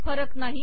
फरक नाही